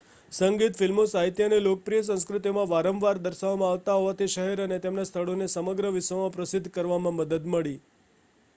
સંગીત ફિલ્મો સાહિત્ય અને લોકપ્રિય સંસ્કૃતિમાં વારંવાર દર્શાવવામાં આવતા હોવાથી શહેર અને તેના સ્થળોને સમગ્ર વિશ્વમાં પ્રસિદ્ધ કરવામાં મદદ મળી